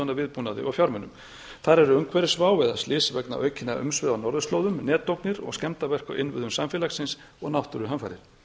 af viðbúnaði og fjármunum þar eru umhverfisvá eða slys vegna aukinna umsvifa á norðurslóðum netógnir og skemmdarverk á innviðum samfélagsins og náttúruhamfarir